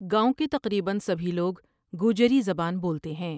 گاؤں کے تقریبا سبھی لوگ گوجری زبان بولتے ہیں ۔